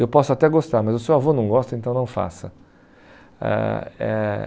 Eu posso até gostar, mas o seu avô não gosta, então não faça. Ãh eh